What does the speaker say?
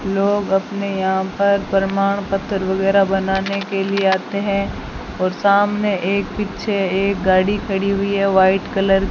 लोग अपने यहां पर प्रमाण पत्र वगैरा बनाने के लिए आते है और सामने एक पीछे एक गाड़ी खड़ी हुई है व्हाइट कलर --